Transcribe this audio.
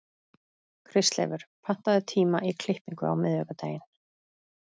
Kristleifur, pantaðu tíma í klippingu á miðvikudaginn.